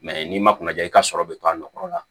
n'i ma kuna ja i ka sɔrɔ bɛ to a nɔkɔrɔ la